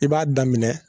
I b'a daminɛ